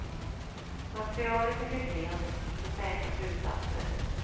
Materialet är för klent för säkra slutsatser.